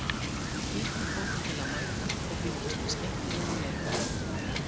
Hvetjum fólk til að mæta og fylgjast með skemmtilegum leik.